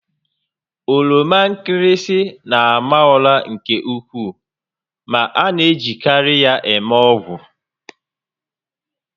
Oroma nkịrịsị na-ama ụra nke ukwuu ma a na-ejikarị ya eme ọgwụ